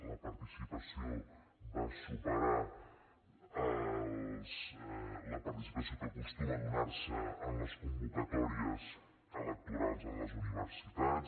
la participació va superar la participació que acostuma a donar se en les convocatòries electorals en les universitats